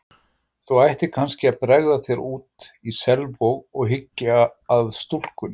Þú ættir kannski að bregða þér út í Selvog og hyggja að stúlkunni.